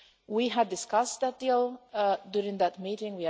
We had discussed that deal during that meeting.